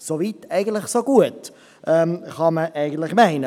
Soweit, so gut, könnte man eigentlich meinen.